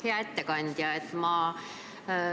Hea ettekandja!